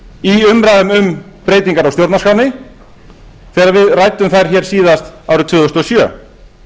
í umræðum um breytingar á stjórnarskránni þegar við ræddum þær hér síðast árið tvö þúsund og sjö